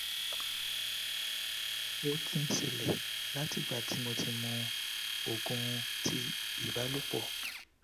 o ti n ṣẹlẹ la ti igba ti mo ti mu oogun ti ibalopo